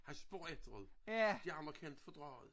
Han spørger efter det. De andre kan ikke fordrage det